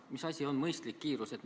Mis asi on mõistlik kiirus?